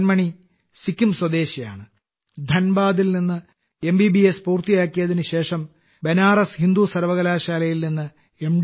മദൻ മണി സിക്കിം സ്വദേശിയാണ് ധൻബാദിൽ നിന്ന് എംബിബിഎസ് പൂർത്തിയാക്കിയതിനു ശേഷം ബനാറസ് ഹിന്ദു സർവകലാശാലയിൽ നിന്ന് എം